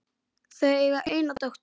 Þau eiga eina dóttur.